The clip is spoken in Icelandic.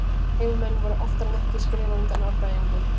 Heimamenn voru oftar en ekki skrefi á undan Árbæingum.